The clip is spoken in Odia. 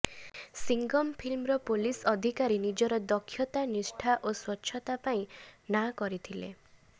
ସିଙ୍ଗମ ଫିଲ୍ମର ପୋଲିସ ଅଧିକାରୀ ନିଜର ଦକ୍ଷତା ନିଷ୍ଠା ଓ ସ୍ବଚ୍ଚତା ପାଇଁ ନାଁ କରିଥିଲେ